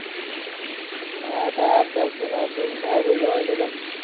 काय आता अभ्यास होईना अभ्यास, बाहेरच जायला भेटणं